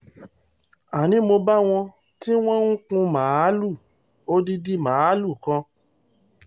àní mo bá wọn tí wọ́n ń kun màálùú odidi màálùú kan